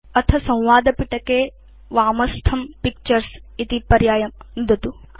अथ संवादपिटके वामस्थं पिक्चर्स इति पर्यायं नुदतु